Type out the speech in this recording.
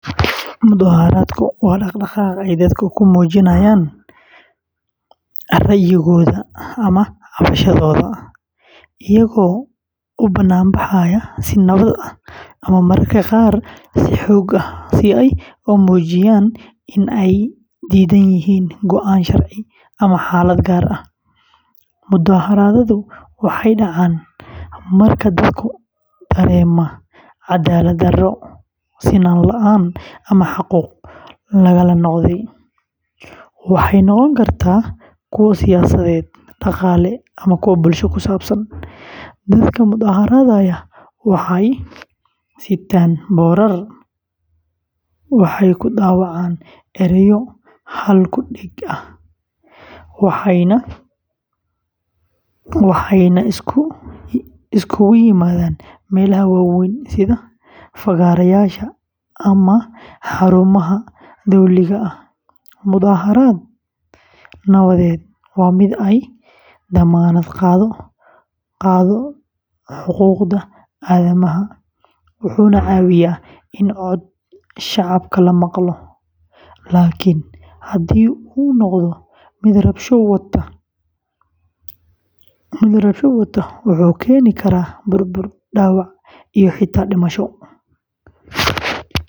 Mudaharaadku waa dhaqdhaqaaq ay dadku ku muujiyaan ra’yigooda ama cabashadooda, iyagoo u bannaanbaxaya si nabad ah ama mararka qaar si xoog ah si ay u muujiyaan in ay diidan yihiin go’aan, sharci, ama xaalad gaar ah. Mudaharaadadu waxay dhacaan marka dadku dareemaan cadaalad-darro, sinaan la’aan, ama xuquuq lagala noqday. Waxay noqon karaan kuwo siyaasadeed, dhaqaale, ama bulsho. Dadka mudaharaadaya waxay sitaan boorar, waxay ku dhawaaqaan erayo hal-ku-dheg ah, waxayna isugu yimaadaan meelaha waaweyn sida fagaarayaasha ama xarumaha dowliga ah. Mudaharaad nabadeed waa mid ay damaanad qaado xuquuqda aadanaha, wuxuuna caawiyaa in codka shacabka la maqlo. Laakiin haddii uu noqdo mid rabshado wata, wuxuu keeni karaa burbur, dhaawac, iyo xitaa dhimasho.